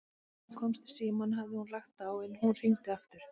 Þegar hann komst í símann hafði hún lagt á, en hún hringdi aftur.